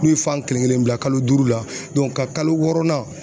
N'u ye fan kelen kelenni bila kalo duuru la ka kalo wɔɔrɔnan